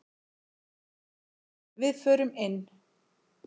Við förum inn!